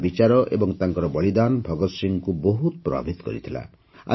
ତାଙ୍କର ବିଚାର ଏବଂ ତାଙ୍କର ବଳିଦାନ ଭଗତସିଂହଙ୍କୁ ବହୁତ ପ୍ରଭାବିତ କରିଥିଲା